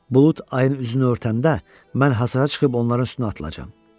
Bulud ayın üzünü örtəndə mən hasara çıxıb onların üstünə atılacam.